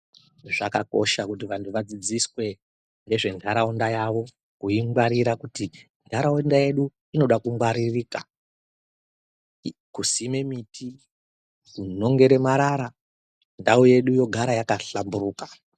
Zvakakosha kuti vantu vadzishandiswe, nezventaraunda yavo, kuingwarira kuti ntataunda yedu inoda kungwaririka,i kusime miti, kunongere marara ,ndau yedu yogara yakahlamburuka.